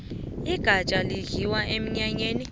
igafjha lidliwa emnyanyeni